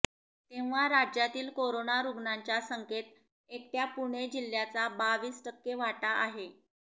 तेंव्हा राज्यातील कोरोना रुग्णांच्या संख्येत एकट्या पुणे जिल्ह्याचा बावीस टक्के वाटा आहे